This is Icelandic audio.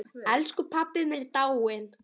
Elsku pabbi minn er dáinn!